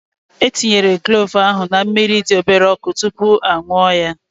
E tinyere klove ahụ na mmiri dị obere ọkụ tupu a ṅụọ ya